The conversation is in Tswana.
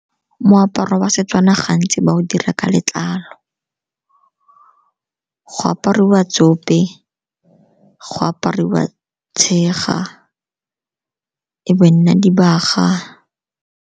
Moaparo wa Setswana gantsi ba o dira ka letlalo, go apariwa tsa kope, go apariwa tshega, e be e nna dibaga.